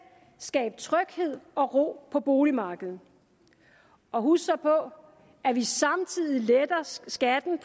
skabe tryghed og ro på boligmarkedet og husk så på at vi samtidig letter skatten